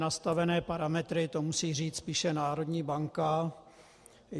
Nastavené parametry, to musí říct spíše národní banka.